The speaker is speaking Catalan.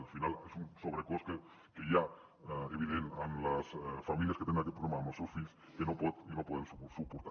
al final és un sobrecost que hi ha evident en les famílies que tenen aquest problema amb els seus fills que no poden suportar